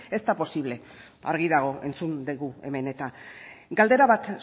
ez da posible argi dago entzun dugu hemen eta galdera bat